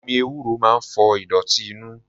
Omi ewúro máa ń fọ ìdọ̀tí inú.